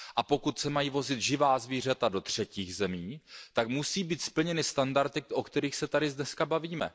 Pokud se mají vozit živá zvířata do třetích zemí, tak musí být splněny standardy, o kterých se tady dnes bavíme.